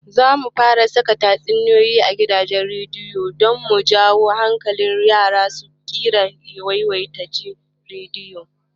Zamu fara saka tatsuniyoyi a gidajen rediyo don mu jawo hankalin yara su riƙa yawaita jin rediyo